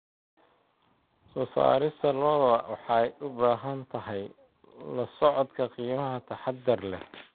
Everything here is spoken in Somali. Soo saarista lo'da lo'da waxay u baahan tahay la socodka qiimaha taxaddar leh.